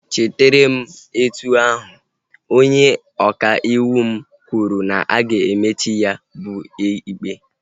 Echere m etu ahu, onye ọka ịwụ m kwuru na-aga emechi ya bụ ikpe